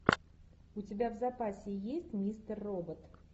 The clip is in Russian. у тебя в запасе есть мистер робот